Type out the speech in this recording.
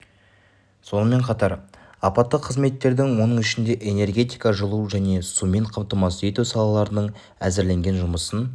соынмен қатар апатты қызметтердің оның ішінде энергетика жылу және сумен қамтамасыз ету салаларының әзірленген жұмысын